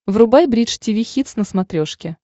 врубай бридж тиви хитс на смотрешке